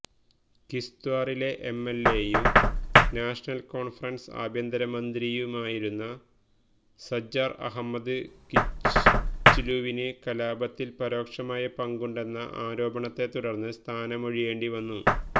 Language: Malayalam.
കിസ്ത്വാറിലെ എംഎല്എയും നാഷണല് കോണ്ഫറന്സ് ആഭ്യന്തര മന്ത്രിയുമായിരുന്ന സജ്ജാര് അഹമ്മദ് കിച്ലുവിന് കലാപത്തില് പരോക്ഷമായ പങ്കുണ്ടെന്ന ആരോപണത്തെത്തുടര്ന്ന് സ്ഥാനമൊഴിയേണ്ടിവന്നു